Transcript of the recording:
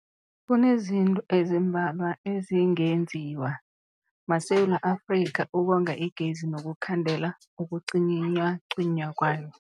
Kunezinto ezimbalwa ezingenziwa maSewula Afrika ukonga igezi nokukhandela ukucinywacinywa kwayo.